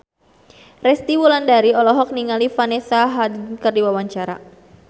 Resty Wulandari olohok ningali Vanessa Hudgens keur diwawancara